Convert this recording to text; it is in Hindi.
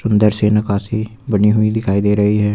अंदर से नक्काशी बनी हुई दिखाई दे रही है।